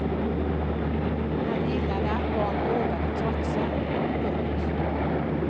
Han gillade att barn vågade trotsa. punkt